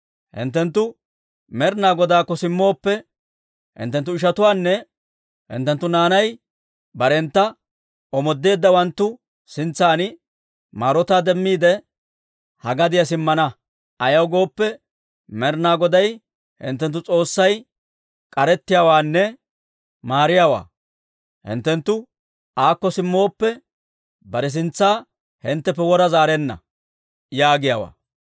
Hinttenttu Med'inaa Godaakko simmooppe, hinttenttu ishatuwaanne hinttenttu naanay barentta omoodeeddawanttu sintsan maarotaa demmiide, ha gadiyaa simmana. Ayaw gooppe, Med'inaa Goday hinttenttu S'oossay k'arettiyaawaanne maariyaawaa. Hinttenttu aakko simmooppe, bare sintsa hintteppe wora zaarenna» yaagiyaawaa.